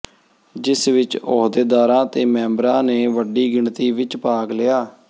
ਜਿਸ ਵਿਚ ਅਹੁਦੇਦਾਰਾਂ ਤੇ ਮੈਂਬਰਾਂ ਨੇ ਵੱਡੀ ਗਿਣਤੀ ਵਿਚ ਭਾਗ ਲਿਆ